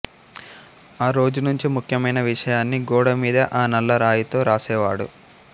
ఆ రోజు నుంచి ముఖ్యమైన విషయాన్ని గోడమీద ఆ నల్లరాయితో రాసేవాడు